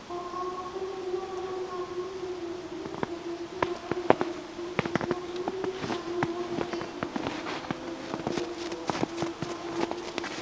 ओ counter के अंदर आप एक आदमी देखने को मिलेंगे जो कि उसपे बैठे हुए हैं और पीछे आपको एक चार्जिंग बोर्ड देखने को मिलेगा और एक कंपनी आपको की पोस्टर आप देखने को मिलेंगे।